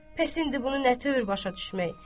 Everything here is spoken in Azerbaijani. Bəs indi bunu nə tövr başa düşmək.